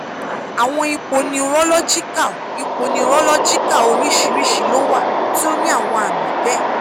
awọn ipo neurological ipo neurological oriṣiriṣi lo wa ti o ni awọn aami bẹẹ